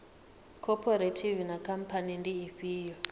khophorethivi na khamphani ndi ifhio